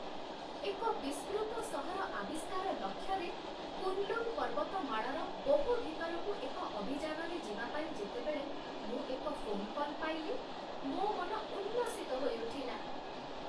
ଏକ ବିସ୍ମୃତ ସହର ଆବିଷ୍କାର ଲକ୍ଷ୍ୟରେ, କୁନ୍ଲୁନ୍ ପର୍ବତମାଳାର ବହୁ ଭିତରକୁ ଏକ ଅଭିଯାନରେ ଯିବା ପାଇଁ ଯେତେବେଳେ ମୁଁ ଏକ ଫୋନ କଲ୍ ପାଇଲି, ମୋ ମନ ଉଲ୍ଲସିତ ହୋଇଉଠିଲା।